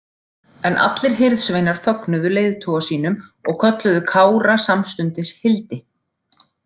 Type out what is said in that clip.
En allir hirðsveinar fögnuðu leiðtoga sínum og kölluðu Kára samstundis Hildi.